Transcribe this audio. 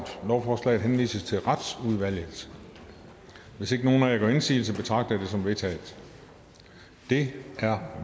lovforslaget henvises til retsudvalget hvis ingen af jer gør indsigelse betragter jeg det som vedtaget det er